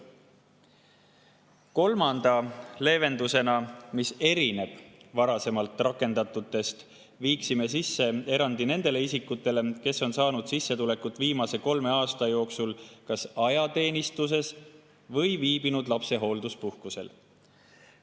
Kolmanda leevendusena, mis erineb varasemalt rakendatust, viiksime sisse erandi nendele isikutele, kes on viimase kolme aasta jooksul saanud sissetulekut kas ajateenistuses olles või on viibinud lapsehoolduspuhkusel.